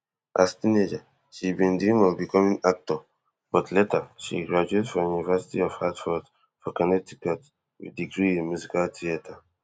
as teenager she bin dream of becoming actor but later she graduate from university of hartford for connecticut with degree in musical theatre